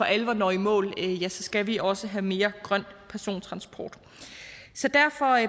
alvor når i mål skal vi også have mere grøn persontransport så derfor